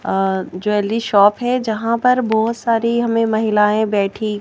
अ jewellery shop है जहाँ पर बहुत सारी हमें महिलाएं बैठी--